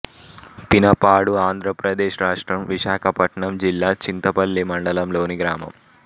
పినపాడు ఆంధ్ర ప్రదేశ్ రాష్ట్రం విశాఖపట్నం జిల్లా చింతపల్లి మండలంలోని గ్రామం